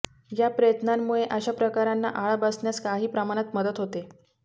या प्रयत्नांमुळे अशा प्रकारांना आळा बसण्यास काही प्रमाणात मदत होते